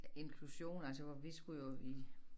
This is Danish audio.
Inklusion altså hvor vi skulle jo i